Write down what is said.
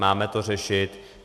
Máme to řešit.